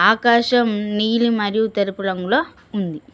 ఆకాశం నీలి మరియు తెలుపు రంగుల ఉంది.